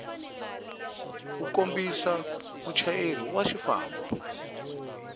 wu kombisa muchayeri wa xifambo